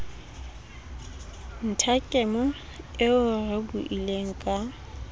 nthakemo eo re buileng ka